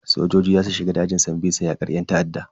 Sojoji za su shiga dajin sambisa yakar yan ta'adda.